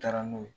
N taara n'o ye